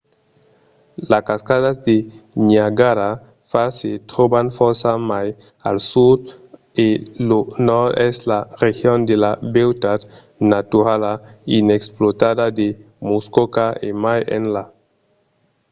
las cascadas de niagara falls se tròban fòrça mai al sud e lo nòrd es la region de la beutat naturala inexplotada de muskoka e mai enlà